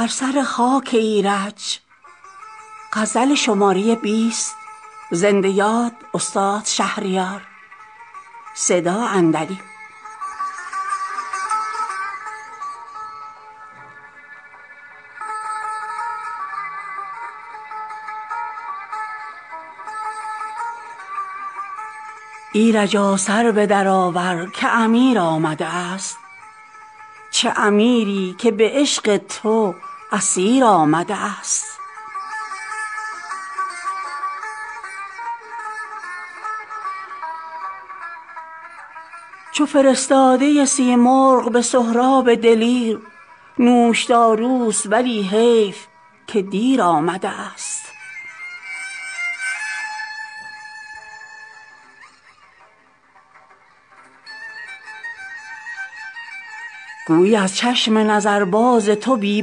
ایرجا سر بدرآور که امیر آمده است چه امیری که به عشق تو اسیر آمده است چون فرستاده سیمرغ به سهراب دلیر نوشداروست ولی حیف که دیر آمده است گویی از چشم نظرباز تو بی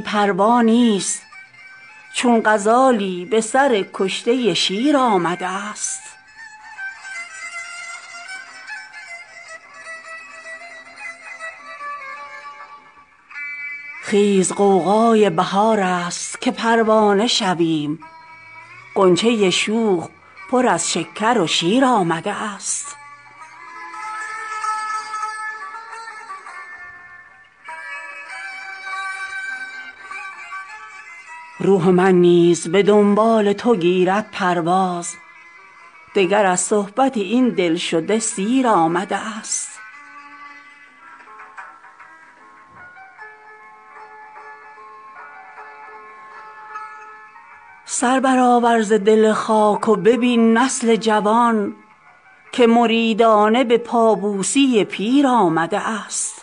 پروا نیست چون غزالی به سر کشته شیر آمده است خیز غوغای بهارست که پروانه شویم غنچه شوخ پر از شکر و شیر آمده است روح من نیز به دنبال تو گیرد پرواز دگر از صحبت این دلشده سیر آمده است سر برآور ز دل خاک و ببین نسل جوان که مریدانه به پابوسی پیر آمده است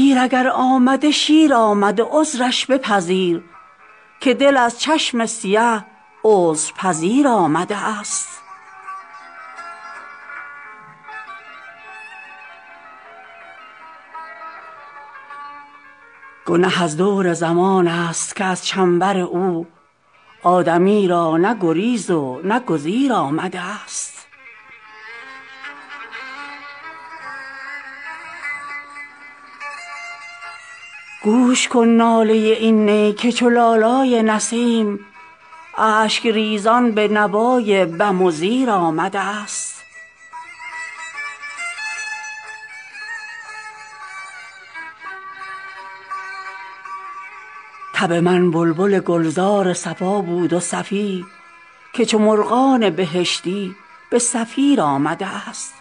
دیر اگر آمده شیر آمده عذرش بپذیر که دل از چشم سیه عذرپذیر آمده است گنه از دور زمان است که از چنبر او آدمی را نه گریز و نه گزیر آمده است گوش کن ناله این نی که چو لالای نسیم اشکریزان به نوای بم و زیر آمده است طبع من بلبل گلزار صفا بود و صفی که چو مرغان بهشتی به صفیر آمده است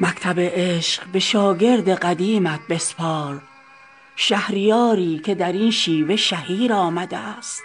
مکتب عشق به شاگرد قدیمت بسپار شهریاری که درین شیوه شهیر آمده است